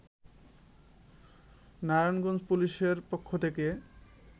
নারায়ণগঞ্জ পুলিশের পক্ষ থেকে